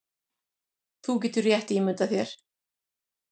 Þú getur rétt ímyndað þér